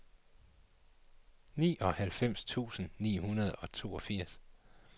nioghalvfems tusind seks hundrede og toogfirs